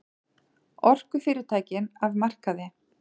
Orkufyrirtækin af markaði